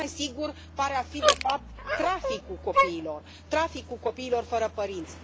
Mult mai sigur pare a fi de fapt traficul copiilor, traficul copiilor fără părinți.